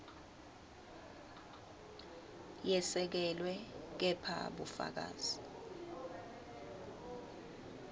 yesekelwe kepha bufakazi